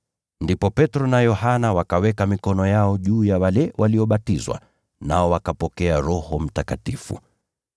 Ndipo Petro na Yohana wakaweka mikono yao juu ya wale waliobatizwa, nao wakapokea Roho Mtakatifu.